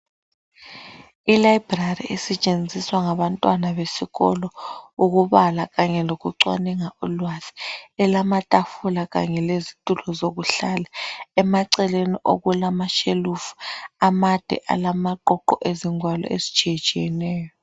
Ilibrary esetshenziswa ngabantwana besikolo ukubala kanye lokucwalinga ulwazi elamatafula kanye lezitulo lokuhlala emaceleni okulama shelufu amade alamaqoqo ezigwalo ezitshiye-tshiyeneyo